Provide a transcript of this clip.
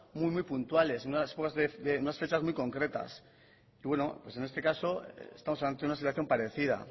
muy puntuales y en unas fechas muy concretas en este caso estamos ante una situación parecida